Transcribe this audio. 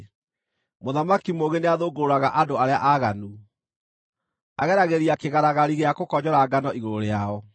Mũthamaki mũũgĩ nĩathũngũrũraga andũ arĩa aaganu; ageragĩria kĩgaragari gĩa gũkonyora ngano igũrũ rĩao.